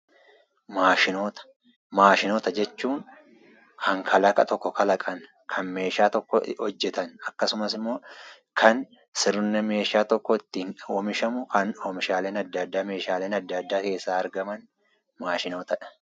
Maashinoota jechuun kan kalaqoota tokko kalaqan, kan meeshaa tokko hojjetan akkasumas ammoo kan sirna meeshaan tokko itti oomishamu, kan oomishaaleen adda addaa keessaa argaman maashinootadha.